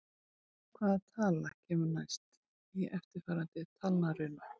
Hvaða tala kemur næst í eftirfarandi talnarunu?